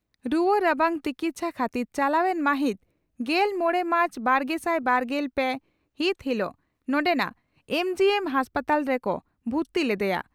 ᱨᱩᱣᱟᱹ ᱨᱟᱵᱟᱝ ᱛᱤᱠᱪᱷᱟ ᱠᱷᱟᱹᱛᱤᱨ ᱪᱟᱞᱟᱣᱮᱱ ᱢᱟᱹᱦᱤᱛ ᱜᱮᱞ ᱢᱚᱲᱮ ᱢᱟᱨᱪ ᱵᱟᱨᱜᱮᱥᱟᱭ ᱵᱟᱨᱜᱮᱞ ᱯᱮ ᱦᱤᱛ ᱦᱤᱞᱚᱜ ᱱᱚᱰᱮᱱᱟᱜ ᱮᱢᱹᱡᱤᱹᱮᱢ ᱦᱟᱥᱯᱟᱛᱟᱞ ᱨᱮᱠᱚ ᱵᱷᱩᱨᱛᱤ ᱞᱮᱫᱮᱭᱟ ᱾